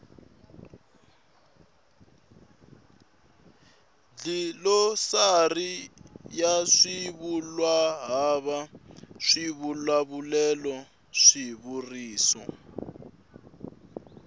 dlilosari ya swivulwahava swivulavulelo swivuriso